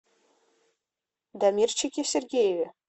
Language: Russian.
дамирчике сергееве